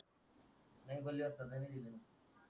नाय बोले वस्ताद म्या नाय दिले